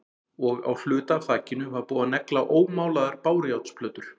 Og á hluta af þakinu var búið að negla ómálaðar bárujárnsplötur.